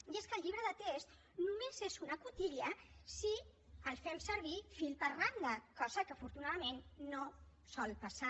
i és que el llibre de text només és una cotilla si el fem servir fil per randa cosa que afortunadament no sol passar